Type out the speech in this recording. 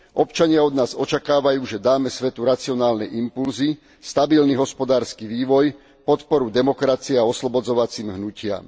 Občania od nás očakávajú, že dáme svetu racionálne impulzy, stabilný hospodársky vývoj a podporu demokracii a oslobodzovacím hnutiam.